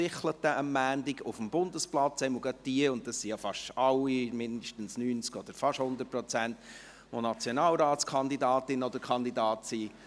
«Sichlete» am Montag auf dem Bundesplatz, vor allem für jene – und das sind ja fast alle, zumindest zu 90 oder fast zu 100 Prozent –, welche Nationalratskandidatinnen oder kandidaten sind.